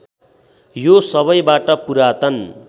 यो सबैबाट पुरातन